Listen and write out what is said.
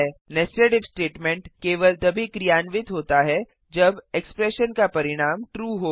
netsed if statement केवल तभी क्रियान्वित होता है जब एक्स्प्रैशन का परिणाम ट्रू हो